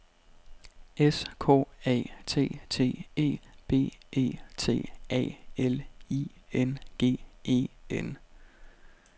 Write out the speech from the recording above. S K A T T E B E T A L I N G E N